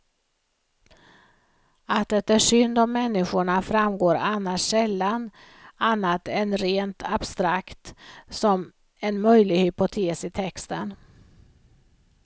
Att det är synd om människorna framgår annars sällan annat än rent abstrakt, som en möjlig hypotes i texten.